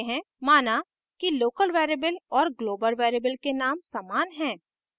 माना कि local variable और global variable के name समान हैं